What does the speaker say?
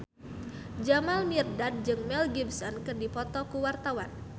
Jamal Mirdad jeung Mel Gibson keur dipoto ku wartawan